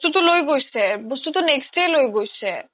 বস্তুটো লই গৈছে, বস্তুটো next day য়ে লই গৈছে